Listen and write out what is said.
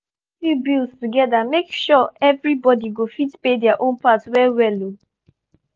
we dey check utility bills together make sure everybody go fit pay their own part well well.